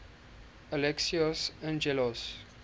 alexios angelos